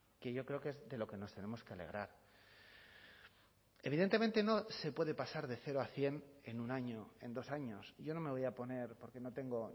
que yo creo que es de lo que nos tenemos que alegrar evidentemente no se puede pasar de cero a cien en un año en dos años yo no me voy a poner porque no tengo